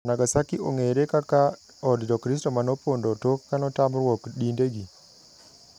Nagasaki ong'ere kaka od jokristo manopondo tok kanotamruok dinde gi.